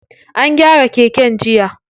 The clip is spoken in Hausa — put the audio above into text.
An gyara keken jiya.